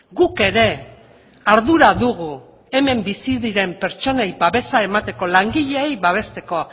guk ere ardura dugu hemen bizi diren pertsonei babesa emateko langileei babesteko